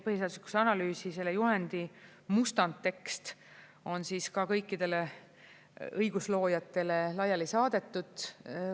Põhiseaduslikkuse analüüsi juhendi mustandtekst on kõikidele õigusloojatele laiali saadetud.